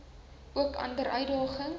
ook ander uitdagings